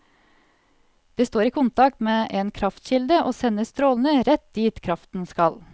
Det står i kontakt med en kraftkilde og sender strålene rett dit kraften skal.